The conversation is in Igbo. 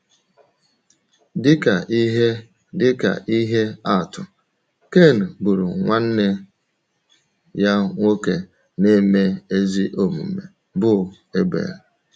Dị ka ihe Dị ka ihe atụ, Ken gburu nwanne ya nwoke na - eme ezi omume bụ́ Ebel.